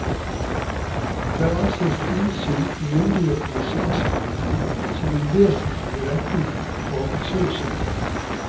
Der ansees innsyn i myndighetenes saksbehandling som en vesentlig rettighet for asylsøkeren.